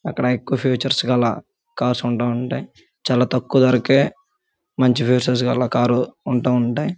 అక్కడ ఎక్కువ ఫీచర్స్ గల కార్సుంటా ఉంటాయి. చాలా తక్కువ ధరకే మంచి ఫీచర్స్ గల కారు ఉంటా ఉంటాయ్.